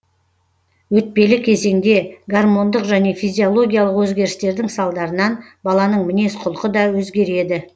өтпелі кезеңде гормондық және физиологиялық өзгерістердің салдарынан баланың мінез құлқы да өзгереді